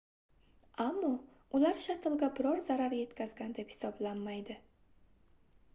ammo ular shattlga biror zarar yetkazgan deb hisoblanmaydi